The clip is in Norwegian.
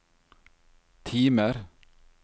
timer